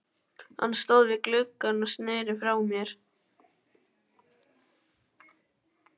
Hann stóð við gluggann og sneri frá mér.